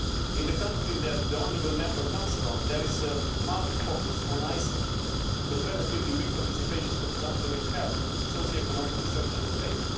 In the country that the honourable Member comes from there is a marked focus on ICT, but relatively weak participation, for example, in health, socioeconomic research and space.